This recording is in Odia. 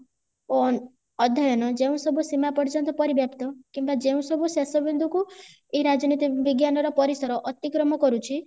ଓ ଅଧ୍ୟୟନ ଯେଉଁ ସବୁ ସୀମା ପର୍ଯ୍ୟନ୍ତ ପରିବ୍ୟାପିତ କିମ୍ବା ଯେଉଁ ସବୁ ଶେଷ ବିନ୍ଦୁ କୁ ଏଇ ରାଜନୀତି ବିଜ୍ଞାନର ପରିସର ଅତିକ୍ରମ କରୁଛି